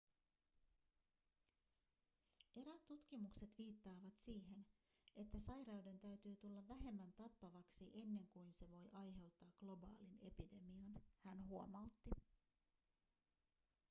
eräät tutkimukset viittaavat siihen että sairauden täytyy tulla vähemmän tappavaksi ennen kuin se voi aiheuttaa globaalin epidemian hän huomautti